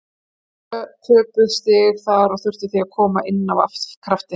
Tvö töpuð stig þar og þurftum því að koma inn af krafti.